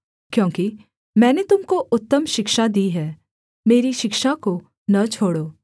क्योंकि मैंने तुम को उत्तम शिक्षा दी है मेरी शिक्षा को न छोड़ो